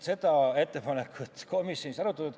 Seda ettepanekut komisjonis ei arutatud.